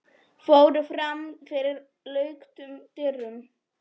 fóru fram fyrir luktum dyrum.